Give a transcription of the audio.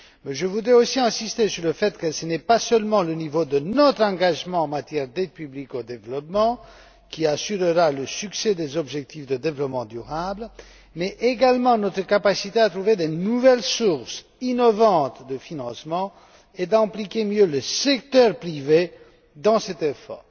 Je voudrais insister sur le fait que ce n'est pas seulement le niveau de notre engagement en matière d'aides publiques au développement qui assurera le succès des objectifs de développement durable, mais également notre capacité à trouver de nouvelles sources innovantes de financement et à mieux associer le secteur privé à cet effort.